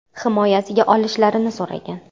Himoyasiga olishlarini so‘ragan.